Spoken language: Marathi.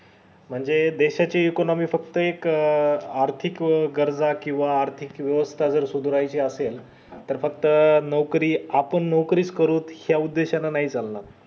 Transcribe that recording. म्हणजे देशाची economic फक्त एक आर्थिक गरजा किव्हा आर्थिक वेवस्था सुधरवायची असेल तर फक्त नोकरी आपण नोकरी च करूच करुत या उद्देशाने जमणार